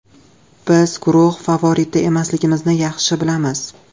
Biz guruh favoriti emasligimizni yaxshi bilamiz.